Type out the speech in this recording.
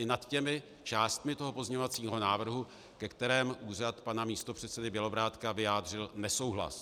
I nad těmi částmi toho pozměňovacího návrhu, ke kterému úřad pana místopředsedy Bělobrádka vyjádřil nesouhlas.